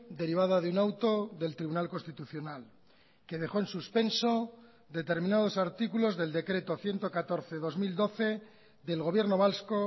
derivada de un auto del tribunal constitucional que dejó en suspenso determinados artículos del decreto ciento catorce barra dos mil doce del gobierno vasco